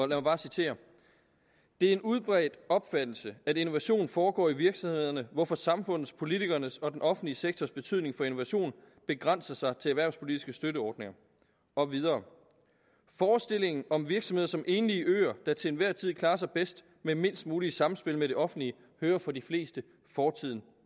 lad mig citere det er en udbredt opfattelse at innovation foregår i virksomhederne hvorfor samfundets politikernes og den offentlige sektors betydning for innovation begrænser sig til erhvervspolitiske støtteordninger og videre forestillingen om virksomheder som enlige øer der til enhver tid klarer sig bedst med mindst muligt samspil med det offentlige hører for de fleste fortiden